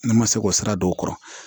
Ne ma se k'o sira don o kɔrɔ